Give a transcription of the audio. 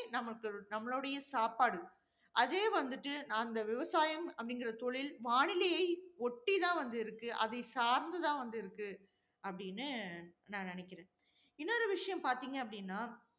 நமக்கு நம்மளுடைய சாப்பாடு. அதே வந்துட்டு அந்த விவசாயம் அப்படிங்கிற தொழில், வானிலையை ஒட்டி தான் வந்து இருக்கு. அதை சார்ந்து தான் வந்து இருக்கு. அப்படின்னு நான் நினைக்கிறேன். இன்னொரு விஷயம் பார்த்தீங்க அப்படின்னா